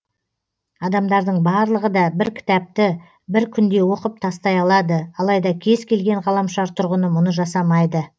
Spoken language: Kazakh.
адамдардың барлығы да бір кітапты бір күнде оқып тастай алады алайда кез келген ғаламшар тұрғыны мұны жасамайды